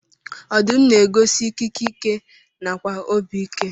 Ọdụm na egosi ikike, ike nakwa obi ike.